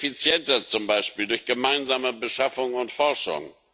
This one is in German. Effizienter zum Beispiel, durch gemeinsame Beschaffung und Forschung.